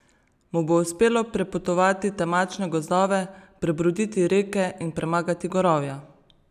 Mu bo uspelo prepotovati temačne gozdove, prebroditi reke in premagati gorovja?